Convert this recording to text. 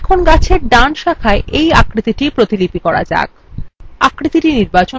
এখন গাছের ডান শাখায় we আকৃতিটির প্রতিলিপি করা যাক